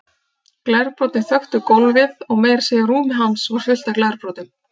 Glerbrotin þöktu gólfið og meira að segja rúmið hans var fullt af glerbrotum.